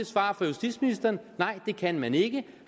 svar fra justitsministeren nej det kan man ikke